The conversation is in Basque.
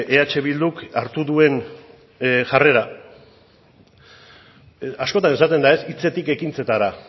eh bilduk hartu duen jarrera askotan esaten da hitzetik ekintzetara